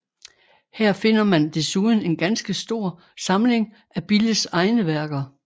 Her finder man desuden en ganske stor samling af Billes egne værker